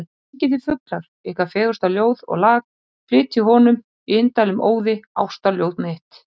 Syngið þið fuglar, ykkar fegursta ljóð og lag, flytjið honum, í indælum óði, ástarljóð mitt.